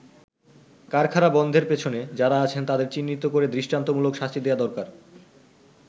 কারখানা বন্ধের পেছনে যারা আছেন তাদের চিহ্নিত করে দৃষ্টান্তমূলক শাস্তি দেয়া দরকার”।